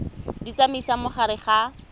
di tsamaisa mo gare ga